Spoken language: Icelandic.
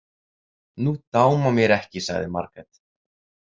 Nú dámar mér ekki, sagði Margrét.